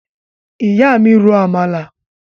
Ìyá mi ro àmàlà